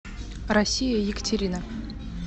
россия екатерина